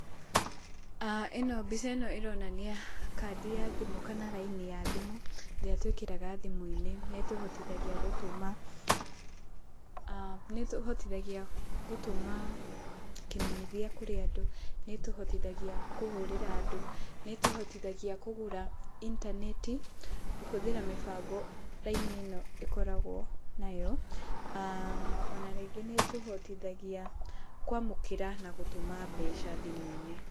Ĩno mbica ĩno ĩronania kandi ya thimũ kana raini ya thimũ ĩrĩa twĩkĩraga thimũ-inĩ nĩ ĩtũhotithagia gũtũma, nĩ ĩtũhotithagia gũtũma kĩmenyithia kũrĩ andũ na ĩtũhotithagia kũhũrĩra andũ. Nĩ ĩtũhotithagua kũgũra intaneti kũhũthĩra mĩbango raini ĩno ĩkoragwo nayo. Ona rĩngĩ nĩ ĩtũhotithagia kwamũkĩra na gũtũma mbeca thimũ-inĩ.